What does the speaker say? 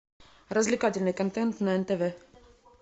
развлекательный контент на нтв